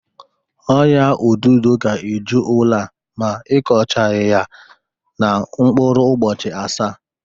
Ọ́nyà odudo ga-eju ụlọ a ma ikochaghị ya na mkpụrụ ụbọchị asaa.